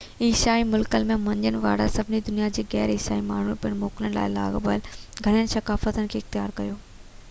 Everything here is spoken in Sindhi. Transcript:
عيسائي ملڪن ۾ نہ مڃڻ وارن ۽ سڄي دنيا جي غير عيسائي ماڻهن پڻ موڪلن سان لاڳاپيل گهڻين ثقافتن کي اختيار ڪيو